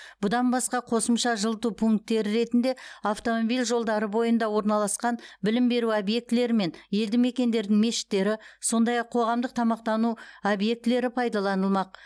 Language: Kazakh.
бұдан басқа қосымша жылыту пункттері ретінде автомобиль жолдары бойында орналасқан білім беру объектілері мен елді мекендердің мешіттері сондай ақ қоғамдық тамақтану объектілері пайдаланылмақ